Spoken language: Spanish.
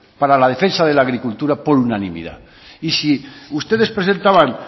para la defensa de la agricultura por unanimidad y si ustedes presentaban